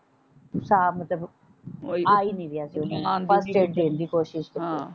ਸਾਬ ਮਤਲਬ ਆ ਹੀ ਨਹੀਂ ਰਿਹਾ ਸੀ ਓਹਨਾ ਨੂੰ ਕੋਸ਼ਿਸ਼ ਕੀਤੀ।